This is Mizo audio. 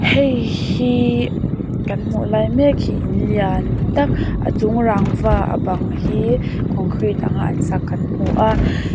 hei hi kan hmuh lai mek hi in lian tak a chung rangva a bang hi concrete anga an sak kan hmu a.